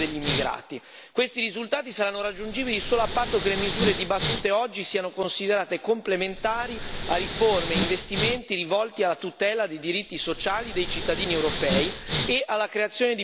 Questi risultati saranno raggiungibili solo a patto che le misure dibattute oggi siano considerate complementari a riforme e investimenti rivolti alla tutela dei diritti sociali dei cittadini europei e alla creazione di posti di lavoro.